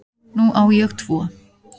Nú á ég tvo